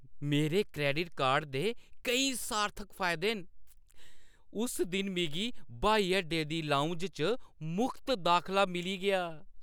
मेरे credit card दे केईं सार्थक फायदे न। उस दिन मिगी ब्हाई अड्डे दी लाउंज च मुख्त दाखला मिली गेआ।